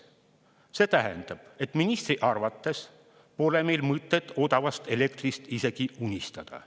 See tähendab, et ministri arvates pole meil mõtet odavast elektrist isegi unistada.